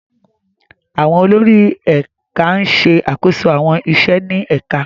Àwọn olórí ẹ̀ka ń ṣe àkóso àwọn iṣẹ́ ní ẹ̀ka.